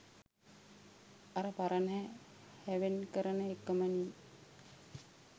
අර පරණ හැවෙන් කරන එකමනෙ.